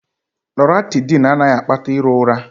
Loratydn anaghị akpata iro ụra